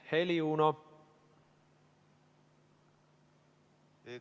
Heli, Uno!